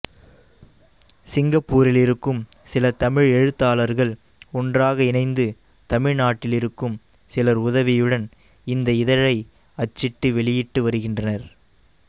சிங்கப்பூரிலிருக்கும் சில தமிழ் எழுத்தாளர்கள் ஒன்றாக இணைந்து தமிழ்நாட்டிலிருக்கும் சிலர் உதவியுடன் இந்த இதழை அச்சிட்டு வெளியிட்டு வருகின்றனர்